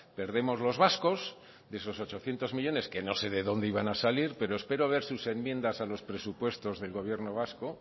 perdemos los vascos de esos ochocientos millónes que no sé de dónde iban a salir pero espero ver sus enmiendas a los presupuestos del gobierno vasco